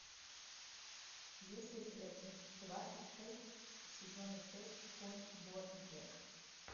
есть ли у тебя часть двадцать шесть сезона шесть конь боджек